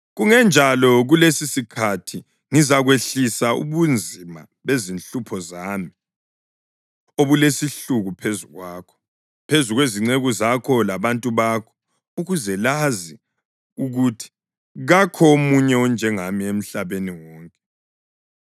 Kungenjalo kulesisikhathi ngizakwehlisa ubunzima bezinhlupho zami obulesihluku phezu kwakho, phezu kwezinceku zakho labantu bakho ukuze lazi ukuthi kakho omunye onjengami emhlabeni wonke.